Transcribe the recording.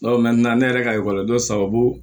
ne yɛrɛ ka dɔ sababu